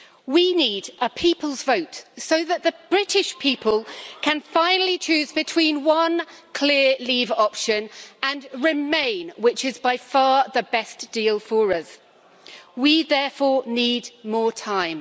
We need a people's vote so that the British people can finally choose between one clear leave option and remain, which is by far the best deal for us. We therefore need more time.